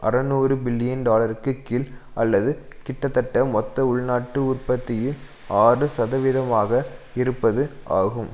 அறுநூறு பில்லியன் டாலருக்குக் கீழ் அல்லது கிட்டத்தட்ட மொத்த உள்நாட்டு உற்பத்தியில் ஆறு சதவிதமாக இருப்பது ஆகும்